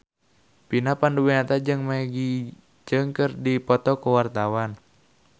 Vina Panduwinata jeung Maggie Cheung keur dipoto ku wartawan